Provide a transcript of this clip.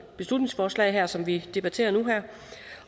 beslutningsforslag som vi debatterer her